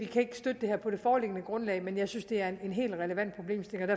kan støtte det her på det foreliggende grundlag men jeg synes det er en helt relevant problemstilling